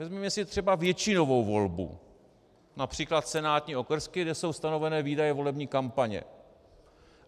Vezměme si třeba většinovou volbu - například senátní okrsky, kde jsou stanovené výdaje volební kampaně.